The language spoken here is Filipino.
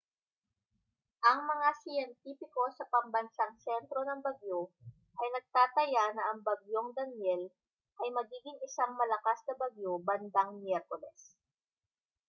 ang mga siyentipiko sa pambansang sentro ng bagyo ay nagtataya na ang bagyong danielle ay magiging isang malakas na bagyo bandang miyerkules